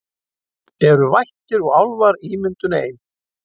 Eru vættir og álfar ímyndun ein